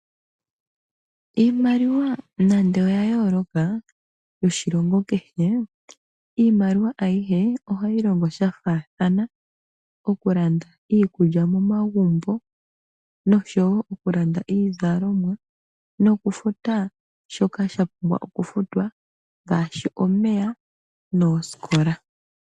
Iimaliwa nande oya yooloka yoshilongo kehe, iimaliwa ayihe ohayi longo sha faathana. Okulanda iikulya momagumbo, noshowo okulanda iizalomwa, nokufuta shoka sha pumbwa okufutwa ngaashi omeya noosikola.